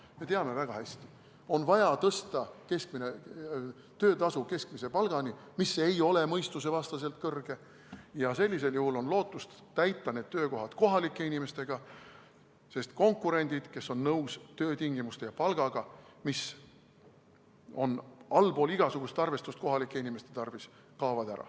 Me teame väga hästi: on vaja tõsta keskmine töötasu keskmise palgani, mis ei ole mõistusevastaselt kõrge, ja sellisel juhul on lootust täita need töökohad kohalike inimestega, sest konkurendid, kes on nõus töötingimuste ja palgaga, mis on kohalike inimeste arvates allpool igasugust arvestust, kaovad ära.